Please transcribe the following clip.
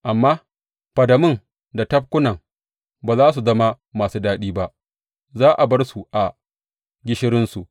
Amma fadamun da tafkunan ba za su zama masu daɗi ba; za a bar su a gishirinsu.